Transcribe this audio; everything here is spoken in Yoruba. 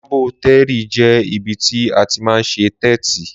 Làbótẹrí jẹ ìbítì àtí mà ń sẹ tẹtí.